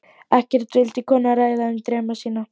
Ekkert vildi konan ræða um drauma sína.